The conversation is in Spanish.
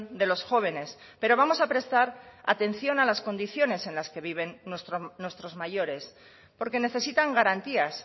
de los jóvenes pero vamos a prestar atención a las condiciones en las que viven nuestros mayores porque necesitan garantías